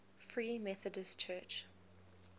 free methodist church